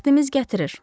Bəxtimiz gətirir.